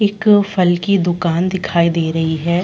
एक फल की दुकान दिखाई दे रही है।